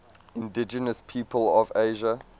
indigenous peoples of asia